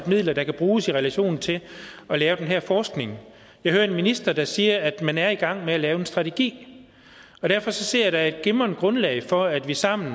midler der kan bruges i relation til at lave den her forskning jeg hører en minister der siger at man er i gang med at lave en strategi og derfor ser jeg at der er et glimrende grundlag for at vi sammen